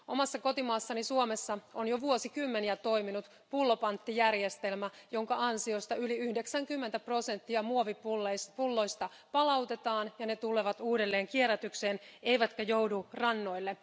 Omassa kotimaassani Suomessa on jo vuosikymmeniä toiminut pullopanttijärjestelmä, jonka ansiosta yli 90 prosenttia muovipulloista palautetaan ja ne tulevat uudelleen kierrätykseen, eivätkä joudu rannoille.